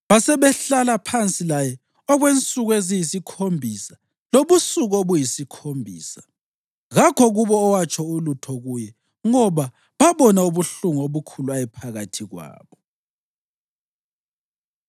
Basebehlala phansi laye okwensuku eziyisikhombisa lobusuku obuyisikhombisa. Kakho kubo owatsho ulutho kuye ngoba babona ubuhlungu obukhulu ayephakathi kwabo.